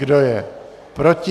Kdo je proti?